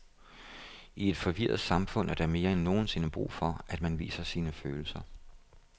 I et forvirret samfund er der mere end nogen sinde brug for, at man viser sine følelser.